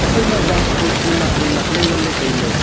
phaima zang kho nak wai nak ley ngan le tailey.